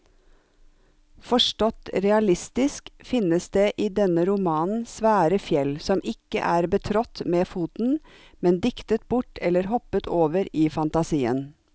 Forstått realistisk finnes det i denne romanen svære fjell som ikke er betrådt med foten, men diktet bort eller hoppet over i fantasien.